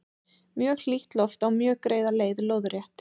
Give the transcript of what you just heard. mjög hlýtt loft á mjög greiða leið lóðrétt